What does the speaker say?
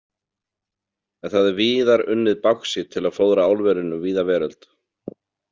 En það er víðar unnið báxít til að fóðra álverin um víða veröld.